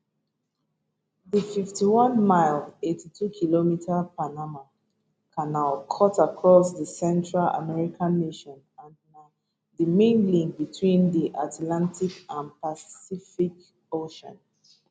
di 51mile 82km panama canal cut across di central american nation and na di main link between di atlantic and pacific oceans